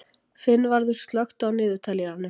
Finnvarður, slökktu á niðurteljaranum.